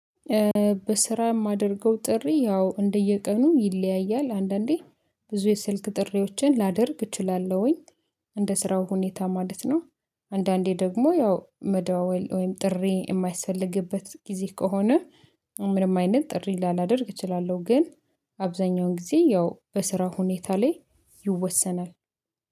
በስራ የማደርገው ጥሪ ያው እንደየቀኑ ይለያያል አንዳንዴ ብዙ የሰልክ ጥሪዎችን ላደርግ እችላለሁኝ እንደ ስራው ሁኔታ ማለት ነው። አንዳንዴ ደግሞ ያው መደዋወል ወይም ጥሪ የማይስፈልግበት ጊዜ ከሆነ። ምንም አይነት ጥሪ ላላደርግ እችላለሁ ግን አብዛኛውን ጊዜ ያው በስራ ሁኔታ ላይ ይወሰናል